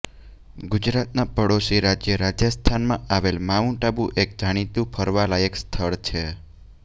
ગુજરાતના પડોસી રાજ્ય રાજસ્થાનમાં આવેલ માઉન્ટ આબુ એક જાણીતું ફરવાલાયક સ્થળ છે